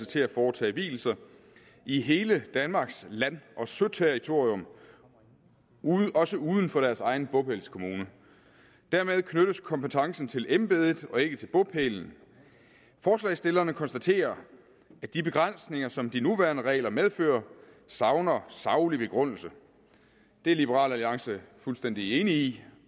til at foretage vielser i hele danmarks land og søterritorium også uden for deres egen bopælskommune dermed knyttes kompetencen til embedet og ikke til bopælen forslagsstillerne konstaterer at de begrænsninger som de nuværende regler medfører savner saglig begrundelse det er liberal alliance fuldstændig enig i